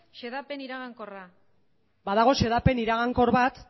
xedapen iragankorra badago xedapen iragankor bat